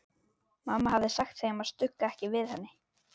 Mamma hafði sagt þeim að stugga ekki við henni.